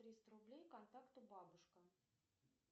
триста рублей контакту бабушка